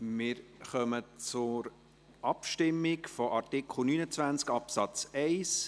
Wir kommen zur Abstimmung über Artikel 29 Absatz 1.